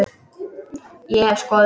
Ég hef skoðun.